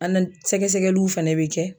Anali sɛgɛsɛgɛluw fɛnɛ be kɛ